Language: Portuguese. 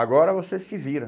Agora você se vira.